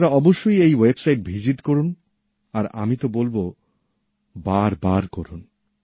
আপনারা অবশ্যই এই ওয়েবসাইট দেখুন আর আমি তো বলব বার বার দেখুন